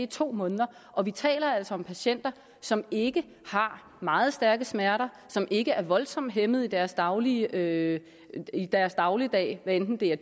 to måneder og vi taler altså om patienter som ikke har meget stærke smerter som ikke er voldsomt hæmmede i deres dagligdag deres dagligdag hvad enten det